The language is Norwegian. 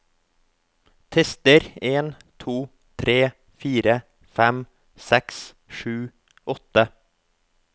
Tester en to tre fire fem seks sju åtte